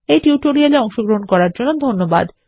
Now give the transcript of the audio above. এই টিউটোরিয়াল এ অংশগ্রহন করার জন্য ধন্যবাদ